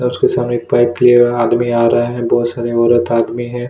और उसके सामने एक पैक कीया हुआ आदमी आ रहा है बहुत सारे औरत आदमी है।